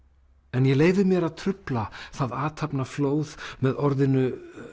en ég leyfi mér að trufla það athafnaflóð með orðinu